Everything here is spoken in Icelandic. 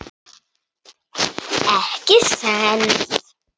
Ekki séns.